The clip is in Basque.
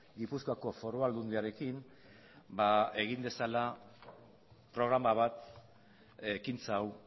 gipuzkoako foru aldundiarekin egin dezala programa bat ekintza hau